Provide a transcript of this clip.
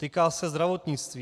Týká se zdravotnictví.